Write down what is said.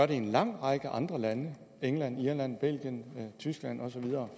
i en lang række andre lande england irland belgien tyskland